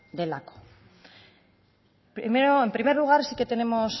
delako primero en primer lugar sí que tenemos